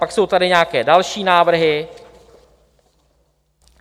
Pak jsou tady nějaké další návrhy.